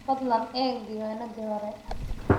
Fadlan eeg diiwaanadii hore